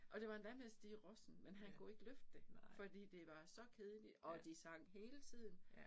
Og det var endda med Stig Rossen men kan kunne ikke løfte det fordi det var så kedeligt og de sang hele tiden